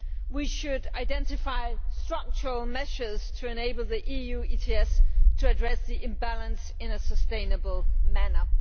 we should identify structural measures to enable the EU ETS to address the imbalances in a sustainable manner.